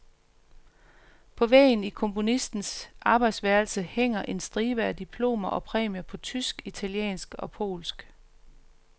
På væggen i komponistens arbejdsværelse hænger en stribe af diplomer og præmier på tysk, italiensk, og polsk.